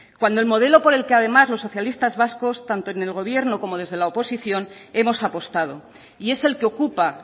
cuando el modelo por el que además los socialistas vascos tanto en el gobierno como desde la oposición hemos apostado y es el que ocupa